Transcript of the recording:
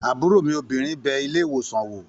Àbúrò mi obìnrin bẹ ilé-ìwòsàn wò